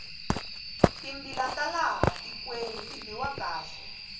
timbila ta laha tikweni ti biwa kahle